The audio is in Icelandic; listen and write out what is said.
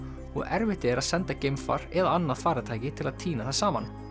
og erfitt er að senda geimfar eða annað farartæki til að tína það saman